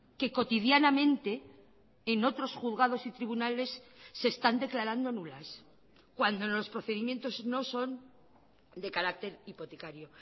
que cotidianamente en otros juzgados y tribunales se están declarando nulas cuando los procedimientos no son de carácter hipotecario